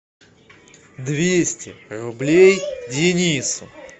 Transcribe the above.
двести рублей денису